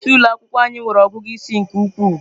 Nwa isi ụlọ akwụkwọ anyị nwere ọgụgụ isi nke ukwuu.